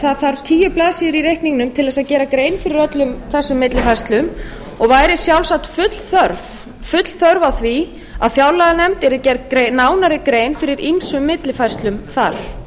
það þarf tíu blaðsíður í reikningnum til að gera grein fyrir öllum þessum millifærslum og væri sjálfsagt full þörf á því að fjárlaganefnd yrði gerð nánari grein fyrir ýmsum millifærslum þar